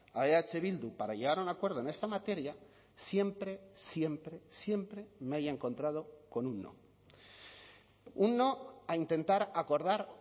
a eh bildu para llegar a un acuerdo en esta materia siempre siempre siempre me haya encontrado con un no un no a intentar acordar